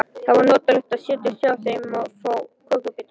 Það var notalegt að setjast hjá þeim og fá kökubita.